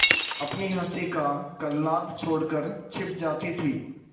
अपनी हँसी का कलनाद छोड़कर छिप जाती थीं